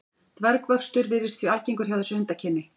Dvergvöxtur virðist því algengur hjá þessu hundakyni.